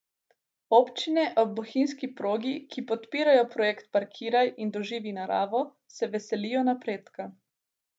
Občine ob bohinjski progi, ki podpirajo projekt Parkiraj in doživi naravo, se veselijo napredka.